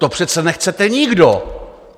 To přece nechcete nikdo.